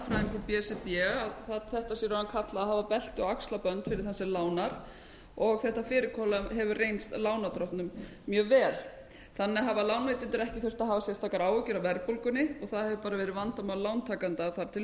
b s r b að þetta sé kallað að hafa belti og axlabönd fyrir þann sem lánar og þetta fyrirkomulag hefur reynst lánardrottnum mjög vel þannig hafa lánveitendur ekki þurft að hafa sérstakar áhyggjur af verðbólgunni það hefur bara verið vandamál lántakenda þar til